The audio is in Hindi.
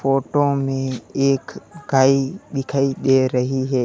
फोटो में एख गाय दिखाई दे रही है।